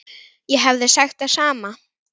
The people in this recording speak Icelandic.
Ég hefði sagt það sama.